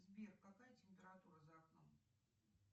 сбер какая температура за окном